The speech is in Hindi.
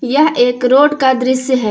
यह एक रोड का दृश्य है।